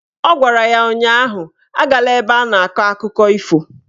Ọ gwara ya ụnyaahụ "Agala ebe a na-akọ akụkọ ifo"